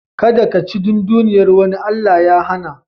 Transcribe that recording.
Kada kaci dunduniyar wani Allah ya hana.